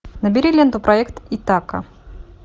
набери ленту проект итака